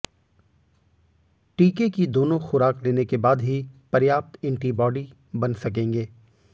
टीके की दोनों खुराक लेने के बाद ही पर्याप्त एंटीबॉडी बन सकेंगे